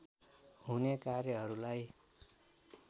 हुने कार्यहरूलाई